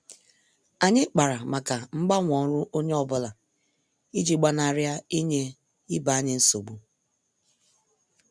Anyị kpara màkà mgbanwe ọrụ onye ọ bụla iji gbanari inye ibe anyị nsogbu.